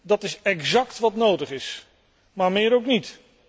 Dat is exact wat nodig is, maar meer ook niet.